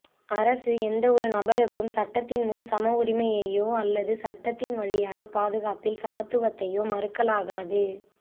அரசு எந்த ஒரு நபருக்கும் சட்டத்தின் முன் சம உரிமையையோ அல்லது சட்டத்தின் வழியான பாதுகாப்பில் சமத்துவத்தையோ மறுக்கலாகாது